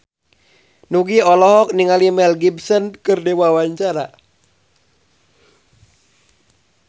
Nugie olohok ningali Mel Gibson keur diwawancara